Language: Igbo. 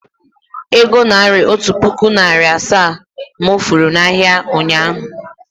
Ee, ego naira otu puku narị na asaa to mụ furu na ahịa, ụnyaahụ